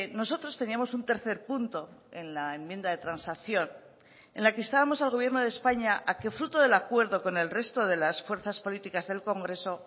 nosotros teníamos un tercer punto en la enmienda de transacción en la que instábamos al gobierno de españa a que fruto del acuerdo con el resto de las fuerzas políticas del congreso